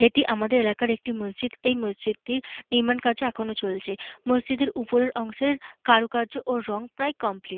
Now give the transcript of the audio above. এটি আমাদের এলাকার একটি মসজিদ। এই মসজিদটির নির্মাণকাজ এখনো চলছে। মসজিদের ওপরের অংশের কারুকার্য ও রং প্রায় কমপ্লিট ।